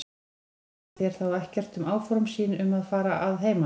Sagði hún þér þá ekkert um áform sín um að fara að heiman?